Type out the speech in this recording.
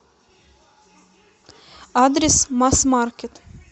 адрес масс маркет